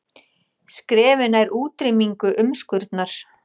Skrefi nær útrýmingu umskurnar